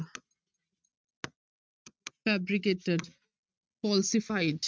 fabricated, falsified